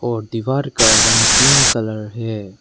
और दीवार का रंग पिंक कलर है।